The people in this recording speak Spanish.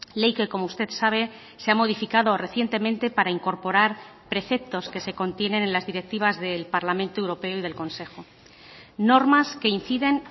ley que como usted sabe se ha modificado recientemente para incorporar preceptos que se contienen en las directivas del parlamento europeo y del consejo normas que inciden